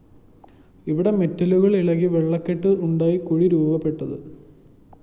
ഇവിടെ മെറ്റലുകള്‍ ഇളകി വെള്ളക്കെട്ട് ഉണ്ടായി കുഴി രൂപപ്പെട്ടത്